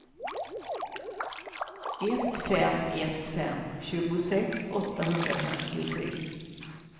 ett fem ett fem tjugosex åttahundrafemtiotre